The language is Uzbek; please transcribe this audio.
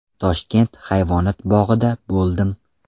Toshkent hayvonot bog‘ida bo‘ldim.